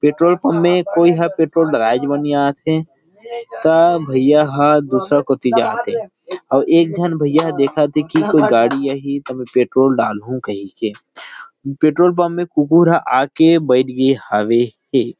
Petrol pump में कोई ह पेट्रोल दलवाएच बार नई आथे त भैया ह दूसरा कोथि जाथे अउ एक झन भैया देखत थे की कोई गाड़ी आहि तब पेट्रोल डाल हू कही के पेट्रोल पंप में कुकुर आ के बईठ गे हवे।